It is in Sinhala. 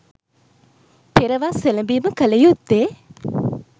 පෙර වස් එළඹීම කළ යුත්තේ